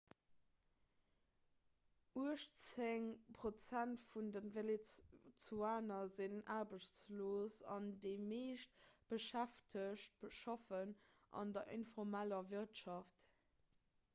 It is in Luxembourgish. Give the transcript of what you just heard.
uechtzéng prozent vun de venezuelaner sinn aarbechtslos an déi meescht beschäftegt schaffen an der informeller wirtschaft